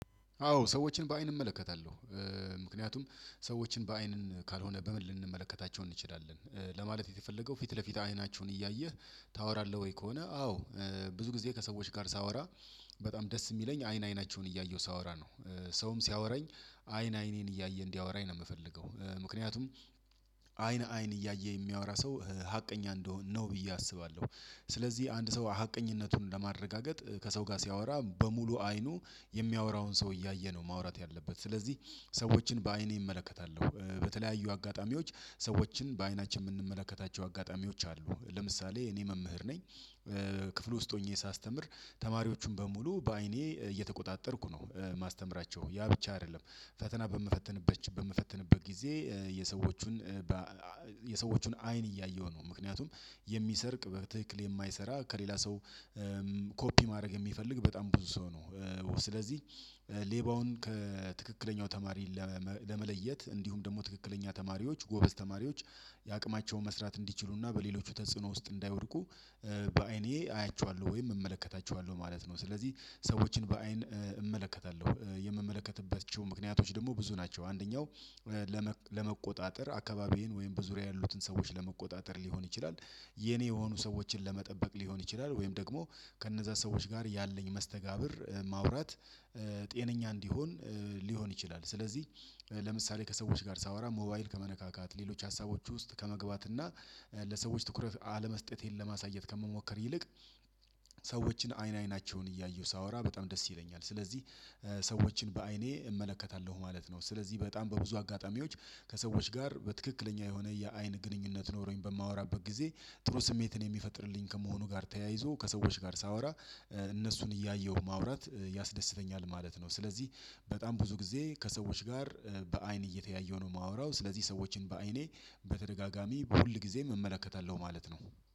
አዎ ሰዎችን በአይን እመለከታለሁ። ምክንያቱም ሰዎችን በአይን ካልሆነ በምን ልንመለከታቸው እንችላለን ለማለት የተፈለገው ፊት ለፊት አይናቸውን እያየህ? ታወራለህ ወይ ከሆነ አዎ። ብዙ ጊዜ ከሰዎች ጋር ሳወራ በጣም ደስ የሚለኝ አይን አይናቸውን እያየሁ ሳወራ ነው። ሰውም ሲያወራኝ አይን አይኔን እያየ እንዲያወራኝ ነው የምፈልገው። ምክንያቱም አይን አይን እያየ የሚያወራ ሰው ሀቀኛ እንደሆን ነው ብዬ አስባለሁ። ስለዚህ አንድ ሰው ሀቀኝነቱን ለማረጋገጥ ከሰው ጋር ሲያወራ በሙሉ አይኑ የሚያወራውን ሰው እያየ ነው ማውራት ያለበት ስለዚህ። ሰዎችን በአይኔ እመለከታለሁ በተለያዩ አጋጣሚዎች ሰዎችን በአይናችን የምንመለከታቸው አጋጣሚዎች አሉ። ለምሳሌ እኔ መምህር ነኝ። ክፍል ውስጥ ሆኜ ሳስተምር ተማሪዎቹን በሙሉ በአይኔ እየተቆጣጠርኩ ነው ማስተምራቸው ያ ብቻ አይደለም። ፈተና በምፈትንበት በምፈትንበት ጊዜ የሰዎቹን የሰዎቹን አይን እያየሁ ነው። ምክንያቱም የሚሰርቅ በትክክል የማይሰራ ከሌላ ሰው ኮፒ ማድረግ የሚፈልግ በጣም ብዙ ሰው ነው። ስለዚህ ሌባውን ከትክክለኛው ተማሪ ለመለየት እንዲሁም ደግሞ ትክክለኛ ተማሪዎች ጎበዝ ተማሪዎች። የአቅማቸውን መስራት እንዲችሉና በሌሎች ተጽዕኖ ውስጥ እንዳይወድቁ በአይኔ አያቸዋለሁ ወይም እመለከታቸዋለሁ ማለት ነው። ስለዚህ ሰዎችን በአይን እመለከታለሁ የምመለከትበት ምክንያቶች ደግሞ ብዙ ናቸው። አንደኛው አካባቢዬን ወይም በዙሪያ ያሉትን ሰዎች ለመቆጣጠር ሊሆን ይችላል። የኔ የሆኑ ሰዎችን ለመጠበቅ ሊሆን ይችላል ወይም ደግሞ ከነዛ ሰዎች ጋር ያለኝ መስተጋብር ማውራት ጤነኛ እንዲሆን። ሊሆን ይችላል። ስለዚህ ለምሳሌ ከሰዎች ጋር ሳወራ ሞባይል ከመነካካት ሌሎች ሀሳቦች ውስጥ ከመግባት እና ለሰዎች ትኩረት አለመስጠቴን ለማሳየት ከምሞከር ይልቅ። ሰዎችን አይን አይናቸውን እያየሁ ሳወራ በጣም ደስ ይለኛል ስለዚህ ሰዎችን በአይኔ እመለከታለሁ ማለት ነው። ስለዚህ በጣም በብዙ አጋጣሚዎች ከሰዎች ጋር በትክክለኛ የሆነ የአይን ግንኙነት ኖሮኝ በማወራበት ጊዜ ጥሩ ስሜትን የሚፈጥርልኝ ከመሆኑ ጋር ተያይዞ ከሰዎች ጋር ሳወራ እነሱን እያየሁ ማውራት ያስደስተኛል ማለት ነው። ስለዚህ በጣም ብዙ ጊዜ ከሰዎች ጋር በአይን እየተያየሁ ነው የማወራው። ስለዚህ ሰዎችን በአይኔ በተደጋጋሚ ሁል ጊዜም እመለከታለሁ ማለት ነው።